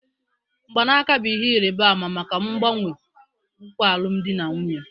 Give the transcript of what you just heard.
Mgbanaka bụ ihe ịrịba ama maka mgbanwe nkwa alụmdi na nwunye